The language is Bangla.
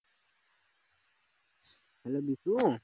hello বিশু